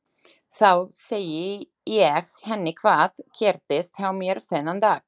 Þá segi ég henni hvað gerðist hjá mér þennan dag.